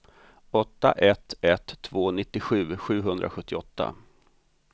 åtta ett ett två nittiosju sjuhundrasjuttioåtta